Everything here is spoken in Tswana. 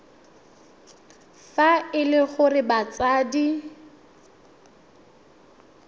fa e le gore batsadi